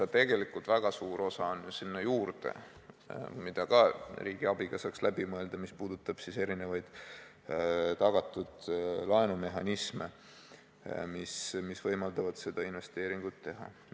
Aga tegelikult väga suur osa sellele lisaks, mida saaks samuti riigi abiga läbi mõelda, on seotud erisuguste tagatud laenumehhanismidega, mis võimaldavad seda investeeringut teha.